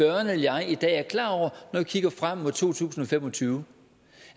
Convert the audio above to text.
eller jeg i dag er klar over når vi kigger frem mod to tusind og fem og tyve